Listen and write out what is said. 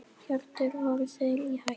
Hjörtur: Voru þeir í hættu?